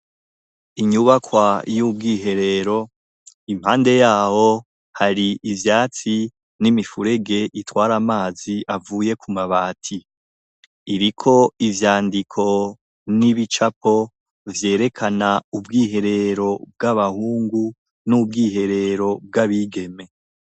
Inyubakwa y'ubwiherero impande yaho hari ivyatsi n'imifurege itwara amazi avuye ku mabati iriko ivyandiko n'ibicapo vyerekana ubwiherero bw'abahungu n'ubwiherero bw'abigeme.